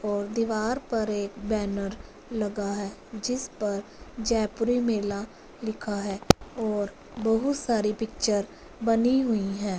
और दीवार पर एक बैनर लगा है जिस पर जयपुरी मेल लिखा है और बहुत सारी पिक्चर बनी हुई है।